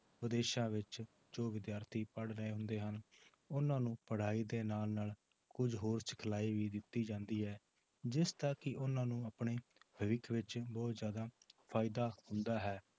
ਵਿਦੇਸ਼ਾਂ ਵਿੱਚ ਜੋ ਵਿਦਿਆਰਥੀ ਪੜ੍ਹ ਰਹੇ ਹੁੰਦੇ ਹਨ ਉਹਨਾਂ ਨੂੰ ਪੜ੍ਹਾਈ ਦੇ ਨਾਲ ਨਾਲ ਕੁੱਝ ਹੋਰ ਸਿਖਲਾਈ ਵੀ ਦਿੱਤੀ ਜਾਂਦੀ ਹੈ ਜਿਸ ਦਾ ਕਿ ਉਹਨਾਂ ਨੂੰ ਆਪਣੇ ਭਵਿੱਖ ਵਿੱਚ ਬਹੁਤ ਜ਼ਿਆਦਾ ਫ਼ਾਇਦਾ ਹੁੰਦਾ ਹੈ